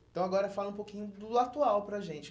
Então agora fala um pouquinho do atual para a gente.